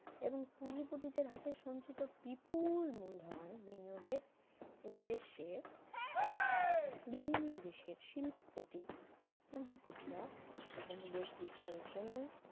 এবং পুঁজিপতি দের হাতে সঞ্চিত বিপুল মূলধন বিনিয়োগের উদ্দেশ্যে বিভিন্ন দেশের শিল্পপতি ও পুঁজিপতিরা উপনিবেশ বিস্তারের জন্য